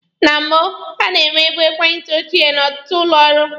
Na mbụ, a na-enwebu ekwentị ochie n'ọtụtụ ụlọ ọrụ.